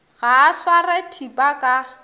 ga a sware thipa ka